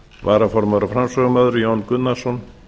varaformaður og framsögumaður jón gunnarsson